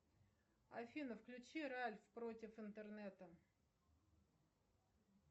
афина включи ральф против интернета